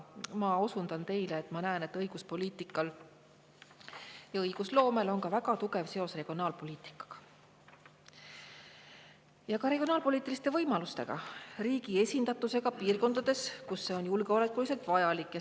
Ma osundan teile, et ma näen, et õiguspoliitikal ja õigusloomel on väga tugev seos regionaalpoliitikaga, ka regionaalpoliitiliste võimalustega, riigi esindatusega piirkondades, kus see on julgeolekuliselt vajalik.